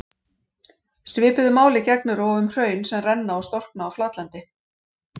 Svipuðu máli gegnir og um hraun sem renna og storkna á flatlendi.